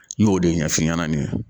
N y'o de ɲɛf'i ɲɛna nin ye